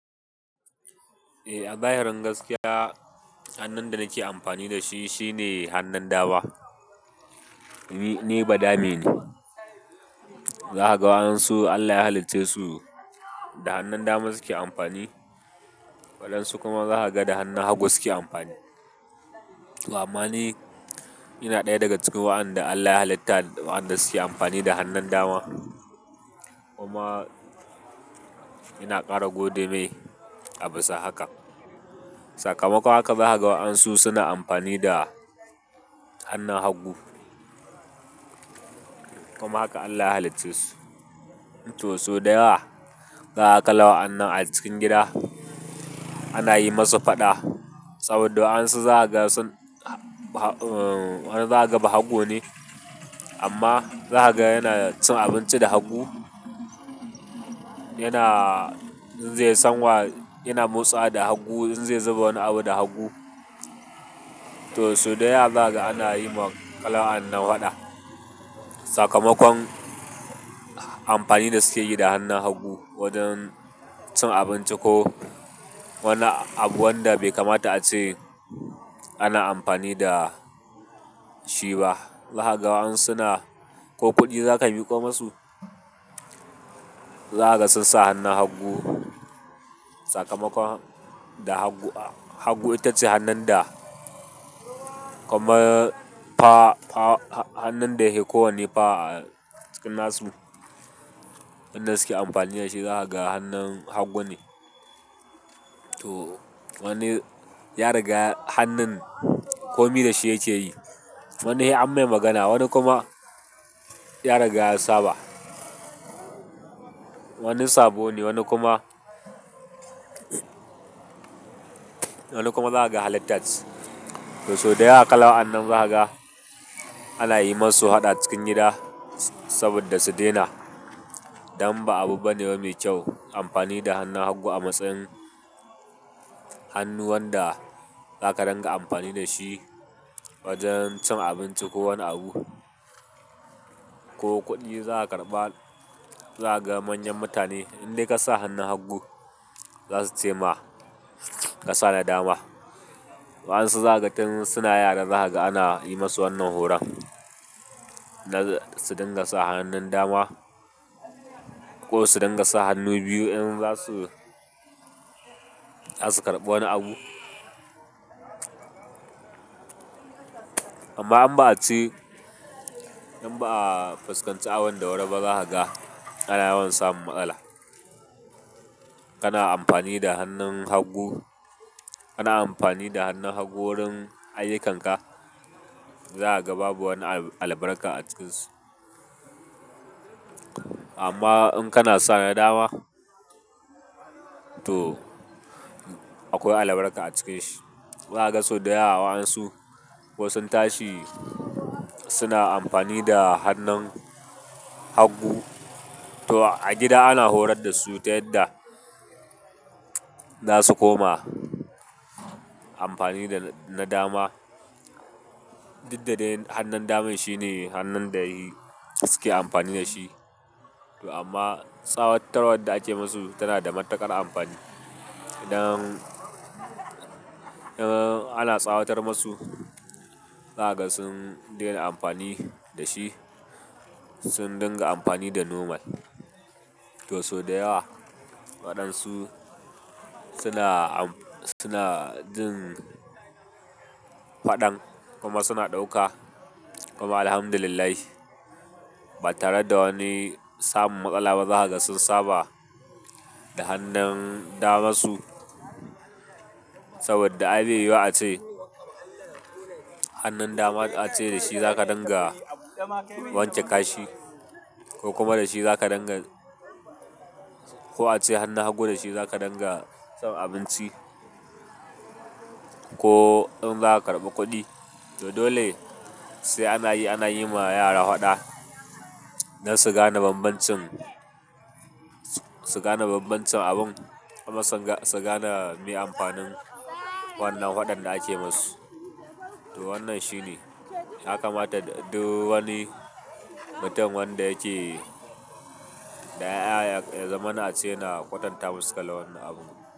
Eh, a zahirin gaskiya hannun da nake amfani da shi shine hannun dama. Ni badame ne. Zakaga wa ɗansu Allah ya halicce su da hannun dama suke amfani, waɗansu kuma zakaga da hannun hagu suke amfani. To amma ni, ina ɗaya daga cikin waɗanda Allah ya halitta waɗanda suke amfani da hannun dama kuma ina ƙara gode mai abisa haka. Sakamakon haka, zakaga wa ɗansu suna amfani da hannun hagu. Kuma haka Allah ya halicce su. To sau da yawa zakaga kalan wa'anan a cikin gida ana yi musu faɗa saboda wa'ansu zakaga sun, wani zahaga bahagu ne amma zahaga yana cin abinci da hagu, yana zai san wa yana motsa da hagu in zai zuba wani abu da hagu. To sau da yawa zakaga ana yi ma kalan wa'anan faɗa. Sakamakon amfani da suke yi da hannun hagu wajen cin abinci ko wani abu wanda bai kamata a ce ana amfani da shi ba. Zakaga wa ɗansu na ko kuɗi zaka miƙo masu, zahaga sun sa hannun hagu sakamakon da hagu, hagu itace hannun da kuma fa hannun da yake kowane fa a cikin nasu, hannun da suke amfani da shi zakaga hannun hagu ne. To wani ya riga hannun komi da shi yake yi. Wani sai an mai magana, wani kuma ya riga ya saba. Wani sabo ne, wani kuma, wani kuma zahaga halitta ce. To sau da yawa kalan wa'anan zakaga ana yi musu faɗa cikin gida saboda su daina don ba abu bane mai kyau amfani da hannun hagu a matsayin hannu wanda zaka dinga amfani da shi wajen cin abinci ko wani abu ko kuɗi za a karɓa zakaga manyan mutane in dai ka sa hannun hagu. Za su ce ma ka sa na dama. Waɗansu zakaga tun suna yara zakaga ana yi musu wannan horon na su dunga hannun dama ko su dunga sa hannu biyu in za su, za su karɓi wani abu. Amma in ba a ci, in ba a fuskanci abin da wari ba zakaga ana yawan samun matsala. Kana amfani da hannun hagu, kana amfani da hannun hagu wurin ayyukanka zakaga babu wani albarka a ciki. Amma in kana sa na dama to akwai albarka a cikin shi. Zakaga sau da yawa waɗansu ko sun tashi suna amfani da hannun hagu to a gida ana horar da su ta yadda za su koma amfani da na dama. Dukda dai hannun daman shine hannun da suke amfani da shi. To amma tsawattarwar da ake masu tana da matuƙar amfani. Idan, idan ana tsawatar masu zahaga sun daina amfani da shi, sun dunga amfani da nomal. To sau da yawa waɗansu suna, suna jin faɗan kuma suna ɗauka kuma Alhamdulillah ba tare da wani samun matsala ba zahaga sun saba da hannun dama su saboda ai bai yiwuwa ce hannun dama a ce da shi zaka dunga wanke kashi ko kuma da shi zaka dunga ko a ce hannun hagu da shi zaka dunga cin abinci ko in za a karɓi kuɗi. To dole sai ana yi, ana yi ma yara faɗa na su gane banbancin, su gane banbancin abun kuma su gane me amfanin wannan faɗan da ake masu. To wannan shine. Ya kamata duk wani mutum wanda yake, da ƴaƴa ya zamana a ce yana kwatanta masu kalan wannan abun.